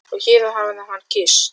Og hér hér hafði hann kysst